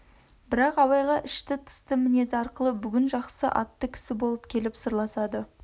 бірақ абайға ішті-тысты мінезі арқылы бүгін жақсы атты кісі болып келіп сырласады